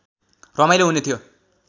रमाइलो हुने थियो